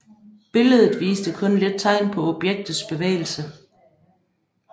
Billedet viste kun lidt tegn på objektets bevægelse